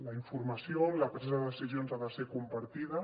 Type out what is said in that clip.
la informació en la presa de decisions ha de ser compartida